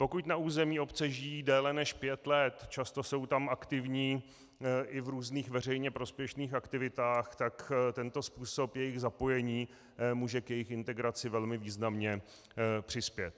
Pokud na území obce žijí déle než pět let, často jsou tam aktivní i v různých veřejně prospěšných aktivitách, tak tento způsob jejich zapojení může k jejich integraci velmi významně přispět.